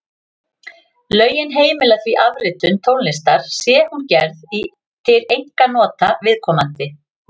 Lögin heimila því afritun tónlistar sé hún gerð til einkanota viðkomandi.